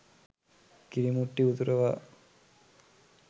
කිරි මුට්ටි උතුරවා